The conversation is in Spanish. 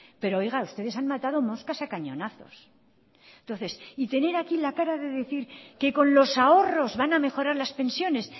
pero oiga ustedes han matado moscas a cañonazos y tener aquí la cara de decir que con los ahorros van a mejorar las pensiones